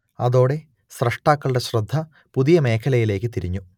അതോടെ സ്രഷ്ടാക്കളുടെ ശ്രദ്ധ പുതിയമേഖലയിലേക്കു തിരിഞ്ഞു